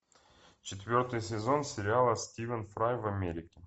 четвертый сезон сериала стивен фрай в америке